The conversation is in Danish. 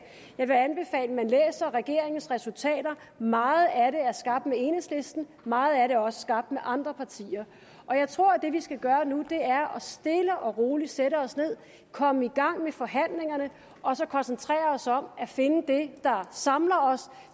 man læser regeringens resultater meget af det er skabt med enhedslisten meget af det er også skabt med andre partier jeg tror at det vi skal gøre nu er stille og roligt at sætte os ned komme i gang med forhandlingerne og så koncentrere os om at finde det der samler os